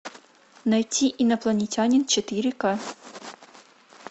найти инопланетянин четыре ка